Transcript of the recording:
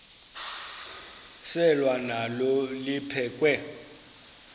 selwa nalo liphekhwe